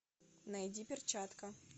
найди перчатка